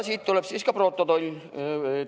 Siit tuleb protokoll.